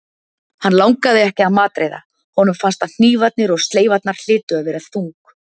Hann langaði ekki að matreiða- honum fannst að hnífarnir og sleifarnar hlytu að vera þung.